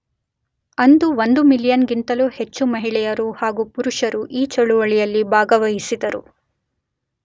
ಅಂದು ಒಂದು ಮಿಲಿಯನ್ ಗಿಂತಲು ಹೆಚ್ಹು ಮಹಿಳೆಯರು ಹಾಗು ಪುರುಷರು ಈ ಚಳುವಳಿಯಲ್ಲಿ ಭಾಗವಹಿಸಿದರು.